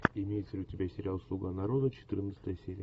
имеется ли у тебя сериал слуга народа четырнадцатая серия